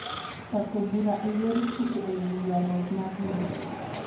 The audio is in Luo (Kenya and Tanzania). Chako bura e yor chike e wi ywarruok mar lowo